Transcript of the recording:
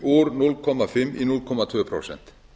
úr hálf í núll komma þrjú prósent